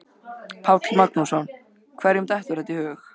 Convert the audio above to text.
Páll Magnússon: Hverjum dettur þetta í hug?